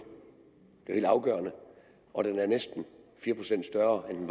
helt afgørende og den er næsten fire procent større end